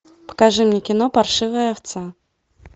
покажи мне кино паршивая овца